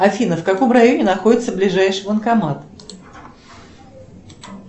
афина в каком районе находится ближайший банкомат